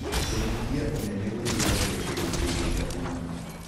Kũnyĩhĩa ũnene gũteĩthagĩa kũrũngĩrĩrĩa ũgima